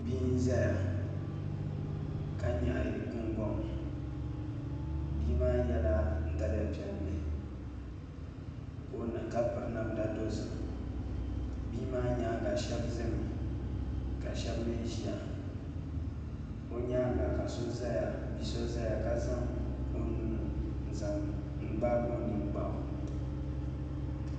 Bia n ʒɛya ka nyaɣi gungoŋ bia maa yɛla daliya piɛlli ka piri namda dozim bia maa nyaanga shab ʒimi ka shab mii ʒiya o nyaanga ka bia so ʒɛya ka zaŋ o nuu n zaŋ gbaagi o nin gbaɣu